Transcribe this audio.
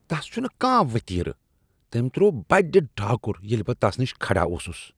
تَس چُھنہٕ کانٛہہ وتیرٕ۔ تٔمۍ ترٛوو بڈِ ڈاكُر ییلہِ بہٕ تَس نِش كھڑا اوسُس ۔